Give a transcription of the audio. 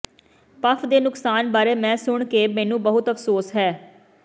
puff ਦੇ ਨੁਕਸਾਨ ਬਾਰੇ ਮੈਂ ਸੁਣ ਕੇ ਮੈਨੂੰ ਬਹੁਤ ਅਫ਼ਸੋਸ ਹੈ